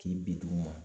K'i bi d'u ma